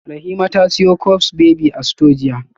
Rahima ta siyo cups baby a store jiya